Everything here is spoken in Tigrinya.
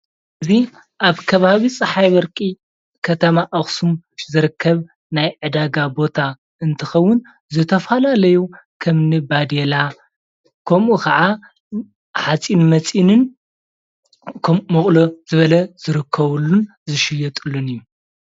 እዚ ኣብ ከባቢ ፀሓይ በርቒ ከተማ ኣክሱም ዝርከብ ናይ ዕዳጋ ቦታ እንትከውን ዝተፈላለዪ ከምኒ ባዲላ ከምኡ ክዓ ሓፂን መፂነን ከም መቁሎ ዝበለ ዝርከብሉን ዝሽየጡሉን እዩ::